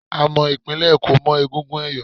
A mọ ìpínlẹ̀ Èkó mọ́ egungun ẹ̀yọ̀